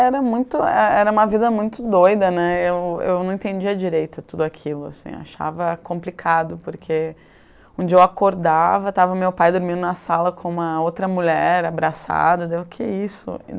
Era muito, é é, era uma vida muito doida, né, eu eu não entendia direito tudo aquilo, assim, achava complicado, porque um dia eu acordava, estava meu pai dormindo na sala com uma outra mulher abraçada, daí, eu, que isso?